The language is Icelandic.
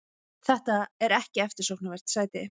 Þetta er ekki eftirsóknarvert sæti.